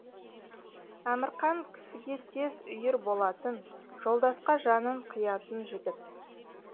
әмірқан кісіге тез үйір болатын жолдасқа жанын қиятын жігіт